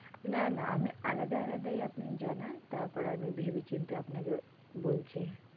না না আমি আলাদা আলাদা আপনি জানান তারপর আমি ভেবে চিনতে আপনাকে বলছি,